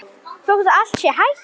Þótt allt sé hætt?